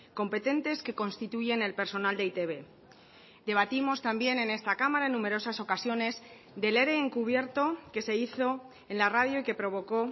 competentes que constituyen el personal de e i te be debatimos también en esta cámara en numerosas ocasiones del ere encubierto que se hizo en la radio y que provocó